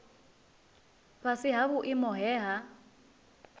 fhasi ha vhuimo he ha